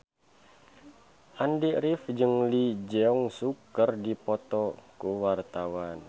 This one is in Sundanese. Andy rif jeung Lee Jeong Suk keur dipoto ku wartawan